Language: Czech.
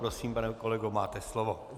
Prosím pane kolego, máte slovo.